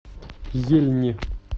ельни